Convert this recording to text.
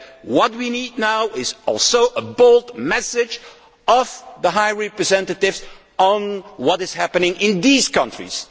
What we also need now is a bold message from the High Representative on what is happening in these countries